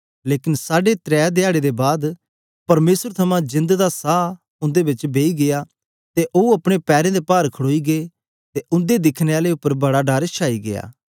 लेकन साढे त्रै धयारे दे बाद परमेसर थमां जिंद दा सां उंदे च बेई गीया ते ओ अपने पैरें दे पार खड़ोई गै ते उंदे दिखने आलें उपर बड़ा डर छाई गीया